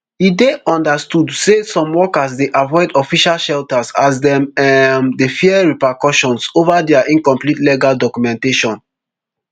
e dey understood say some workers dey avoid official shelters as dem um dey fear repercussions over dia incomplete legal documentation